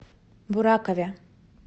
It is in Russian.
буракове